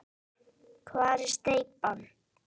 Hvar er steypan?